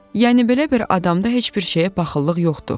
Yəni belə bir adamda heç bir şeyə paxıllıq yoxdur.